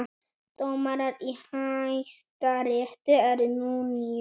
Dómarar í Hæstarétti eru nú níu